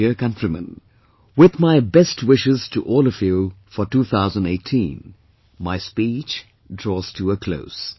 My dear countrymen, with my best wishes to all of you for 2018, my speech draws to a close